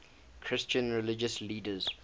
christian religious leaders